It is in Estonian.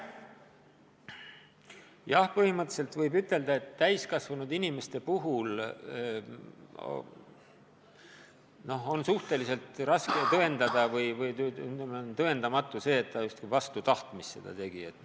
Jah, põhimõtteliselt võib ütelda, et täiskasvanud inimese puhul on suhteliselt tõendamatu, et ta justkui vastu tahtmist dopingut tarvitas.